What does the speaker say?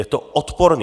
Je to odporné.